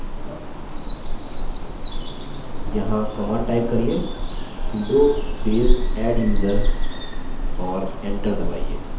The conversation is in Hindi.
यहाँ command type करिये sudo space adduser और enter दबाइए